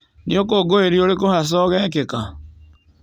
Nĩ ũkũngũĩri ũrĩkũ haca ũgekĩka?